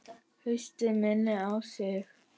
Haustið minnir á sig.